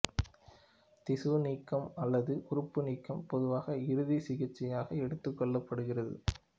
திசு நீக்கம் அல்லது உறுப்பு நீக்கம் பொதுவாக இறுதி சிகிச்சையாக எடுத்துக்கொள்ளப்படுகிறது